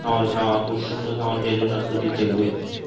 খাবার খাওয়া পুষ্টিসম্মত খাবার খেলে স্বাস্থ্য ঠিক থাকবে